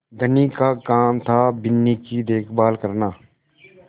धनी का काम थाबिन्नी की देखभाल करना